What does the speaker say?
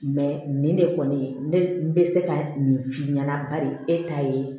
nin ne kɔni ne bɛ se ka nin f'i ɲɛna bari e ta ye